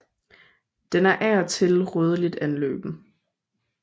Den er af og til rødligt anløben